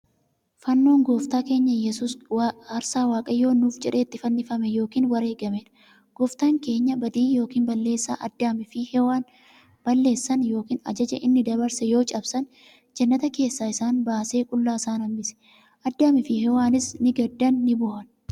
Fannoon gooftaa keenya yesuus aarsaa waaqayyoon nuuf jedhee itti fannifame yookiin wareegameedha. Gooftaan keenya badii yookiin balleessaa Addaam fi Hewaan balleessan yookiin ajaja inni dabarse yoo cabsan, jannata keessaa isaan baasee qullaa isaan hanbise. Addamiifi Hewaaniis ni gaddan ni boohan.